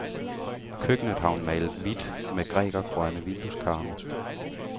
Køkkenet har hun malet hvidt med grækergrønne vindueskarme.